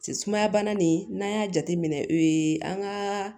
Sumaya bana nin n'an y'a jateminɛ ee an ka